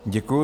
Děkuji.